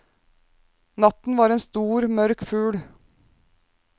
Natten var en stor, mørk fugl.